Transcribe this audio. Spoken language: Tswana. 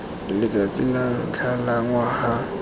letsatsi la ntlha la ngwaga